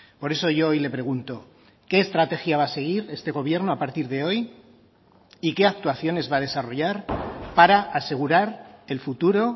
por eso yo hoy le pregunto qué estrategia va a seguir este gobierno a partir de hoy y que actuaciones va a desarrollar para asegurar el futuro